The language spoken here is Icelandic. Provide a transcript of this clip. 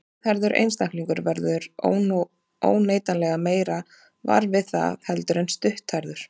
Síðhærður einstaklingur verður óneitanlega meira var við það heldur en stutthærður.